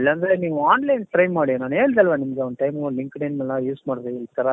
ಇಲ್ಲಾoದ್ರೆ ನೀವು online try ಮಾಡಿ ನಾನು ಹೇಳ್ದೆ ಅಲ್ಲಾ ನಿಮಗೆ ಒಂದ್ timeಮು linked in ಎಲ್ಲ use ಮಾಡಿ ಈ ತರ